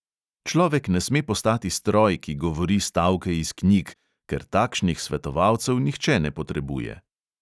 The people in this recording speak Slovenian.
Človek ne sme postati stroj, ki govori stavke iz knjig, ker takšnih svetovalcev nihče ne potrebuje.